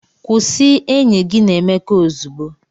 Kwụsị enyi gị na Emeka ozugbo!